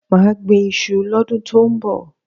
Má gbín iṣu lọ́dún tọ́ ń bọ̀.